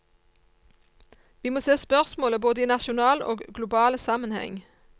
Vi må se spørsmålet både i nasjonal og global sammenheng.